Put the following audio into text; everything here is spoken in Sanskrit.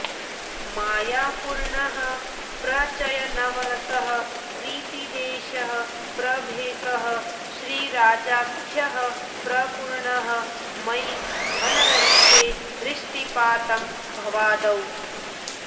मायापूर्णः प्रचयनवरसः प्रीतिदेशः प्रभेकः श्रीराजाख्यः प्रपूर्णः मयि धनरहिते दृष्टिपातं भवादौ